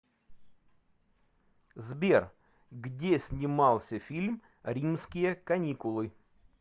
сбер где снимался фильм римские каникулы